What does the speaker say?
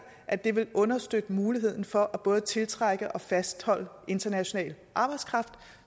at det vil understøtte muligheden for både at tiltrække og fastholde international arbejdskraft